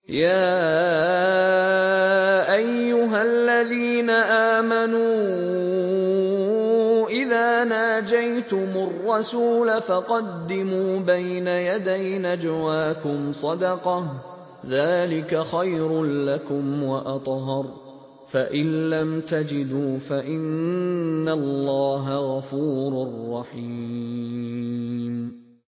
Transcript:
يَا أَيُّهَا الَّذِينَ آمَنُوا إِذَا نَاجَيْتُمُ الرَّسُولَ فَقَدِّمُوا بَيْنَ يَدَيْ نَجْوَاكُمْ صَدَقَةً ۚ ذَٰلِكَ خَيْرٌ لَّكُمْ وَأَطْهَرُ ۚ فَإِن لَّمْ تَجِدُوا فَإِنَّ اللَّهَ غَفُورٌ رَّحِيمٌ